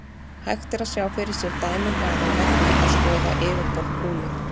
Hægt er að sjá fyrir sér dæmi um hana með því að skoða yfirborð kúlu.